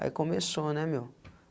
Aí começou, né, meu?